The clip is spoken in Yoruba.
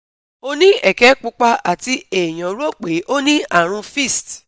Oni eke pupa ati eyan ro pe oni arun fist